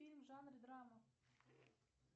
фильм в жанре драма